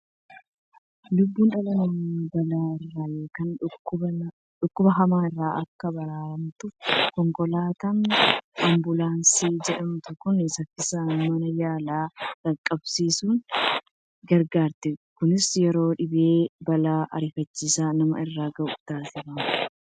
Lubbuun dhala namaa balaa irraa yookiin dhukkuba hamaa irraa akka baraaramtuuf konkolaataan Ambuulaansii jedhamtu kun saffisaan mana yaalaa dhaqqabsiisuuf gargaarti. Kunis yeroo dhibee fi balaan ariifachiisaa nama irra gahu taasifama.